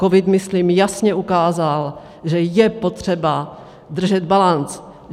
Covid myslím jasně ukázal, že je potřeba držet balanc.